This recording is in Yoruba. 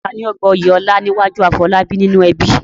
Ta ni ó gba oyè ọlá níwájú Afolabi nínú ẹbí?